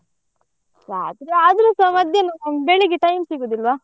ರಾತ್ರಿ ಆದ್ರೂಸ ಮಧ್ಯಾಹ್ನ ಬೆಳ್ಳಿಗ್ಗೆ time ಸಿಗುದಿಲ್ವ?